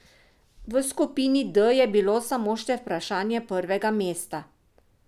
V skupini D je bilo samo še vprašanje prvega mesta.